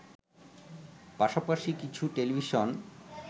পাশাপাশি কিছু টেলিভিশন